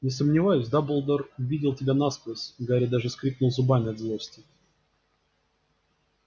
не сомневаюсь дамблдор видел тебя насквозь гарри даже скрипнул зубами от злости